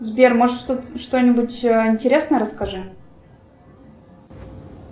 сбер может что нибудь интересное расскажи